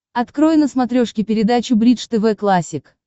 открой на смотрешке передачу бридж тв классик